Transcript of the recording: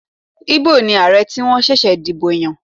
Igbo ni Ààrẹ tí wọ́n ṣẹ̀ṣẹ̀ dìbò yàn.